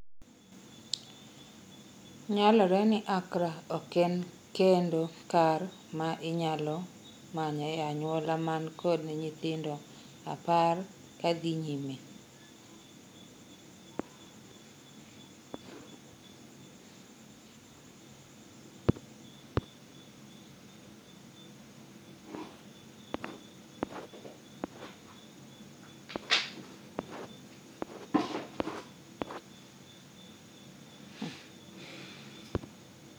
Nyalore ni Accra ok en kendo kar ma inyalo manyo e anyuola man kod nyithindo apar ksdhii nyime